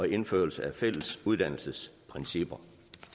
indførelse af fælles uddannelsesprincipper